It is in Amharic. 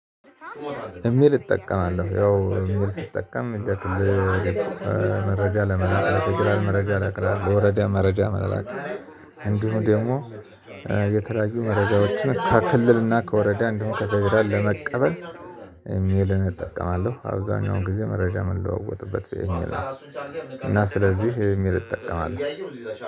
እሜል እጠቀማለሁ ያው እሜል ሲጠቀም ለክልል መረጃ ለመረጃ ለፌደራል መረጃ ለመላክ ለወረዳ መረጃ ለመላክ እንዲሁም ደግሞ የተለያዩ መረጃዎችን ከክልልና ከወረዳ እዲሁም ከፌደራል ለመቀበል። ኢሜልን እጠቀማለሁ አብዛኛውን ጊዜ መረጃ የምንለዋወጥበት በኢሜል ነወ። እና ስለዚህ ኢሜል እጠቀማለሁ።